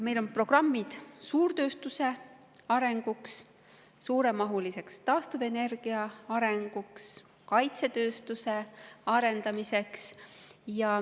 Meil on programmid suurtööstuse arenguks, suuremahuliseks taastuvenergia arenguks, kaitsetööstuse arendamiseks.